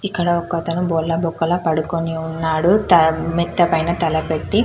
ఇక్కడ ఒకతను బోర్లా బొక్కల పడుకొని ఉన్నాడు మిత్తా పైన తల పెట్టి --